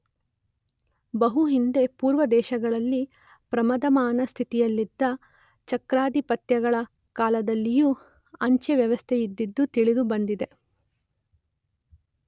ಬಹು ಹಿಂದೆ ಪೂರ್ವದೇಶಗಳಲ್ಲಿ ಪ್ರವರ್ಧಮಾನ ಸ್ಥಿತಿಯಲ್ಲಿದ್ದ ಚಕ್ರಾಧಿಪತ್ಯಗಳ ಕಾಲದಲ್ಲಿಯೂ ಅಂಚೆ ವ್ಯವಸ್ಥೆಯಿದ್ದುದು ತಿಳಿದು ಬಂದಿದೆ.